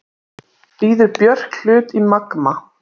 Býður Björk hlut í Magma